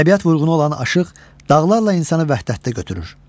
Təbiət vurğunu olan aşıq dağlarla insanı vəhdətdə götürür.